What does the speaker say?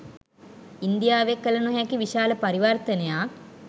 ඉන්දියාවේ කළ නොහැකි විශාල පරිවර්තනයක්